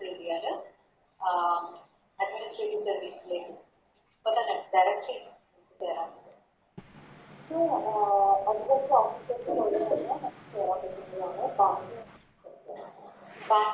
കേറിയാല് ah Administrative service ലേക്ക് Directly കേറാൻ പറ്റും പിന്നെ അഹ്